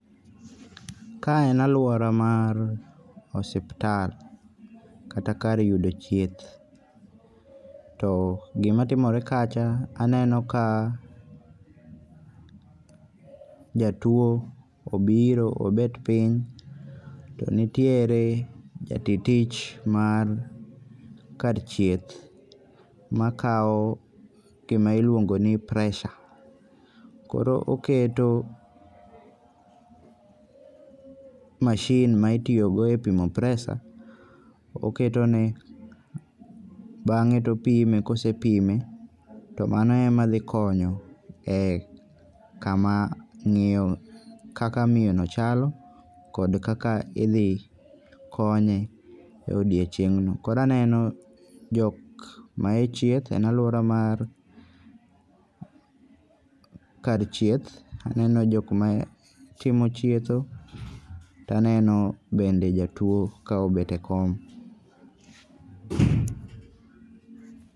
Kae en aluora mar ospital, kata kar yudo chieth, to gimatimore kacha aneno kaa jatuo obiro obet piny, to nitiere ja ti tich mar kad tchieth makawo gima iluongo ni pressure, koro oketo machine ma itiyogo pimo pressure oketone bange' to opime kosepime to mano emadhi konyo ee kama miyo kaka miyono chalo kod kaka idhi konye e odiochieng'no. Koro aneno jok mae chieth en aluora mar kar chieth aneno jok ma timo chietho to aneno bende ja tuo ka obete kom